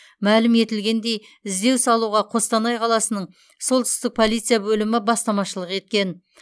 мәлім етілгендей іздеу салуға қостанай қаласының солтүстік полиция бөлімі бастамашылық еткен